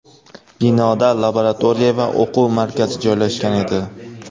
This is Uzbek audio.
Binoda laboratoriya va o‘quv markazi joylashgan edi.